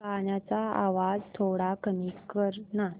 गाण्याचा आवाज थोडा कमी कर ना